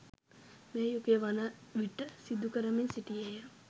මේ යුගය වනවිට සිදුකරමින් සිටියේය.